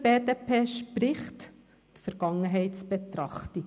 Für die BDP spricht die Vergangenheitsbetrachtung.